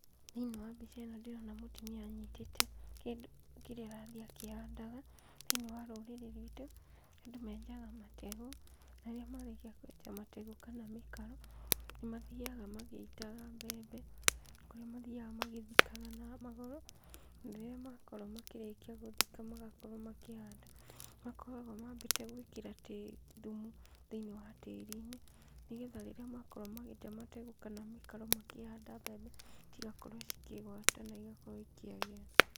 Thĩiniĩ wa mbica ĩno ndĩrona mũtumia anyitĩte kĩndũ kĩrĩa arathiĩ akĩhandaga, thĩiniĩ wa rũrĩrĩ rwitũ, andũ menjaga mategũ, na rĩrĩa marĩkia kwenja mategũ kana mĩkaro, nĩ mathiaga magĩitaga mbembe, kũrĩa mathiaga magĩthikaga na magũrũ, na rĩrĩa makorwo makĩrĩkia gũthika magakorwo makĩhanda, nĩ makoragwo mambĩte gwĩkĩra thumu thĩiniĩ wa tĩri-inĩ, nĩgetha rĩrĩa makorwo magĩtema mategũ kana mĩtaro makĩhanda mbembe, cigakorwo cikĩgwata na igakorwo ikĩagĩra.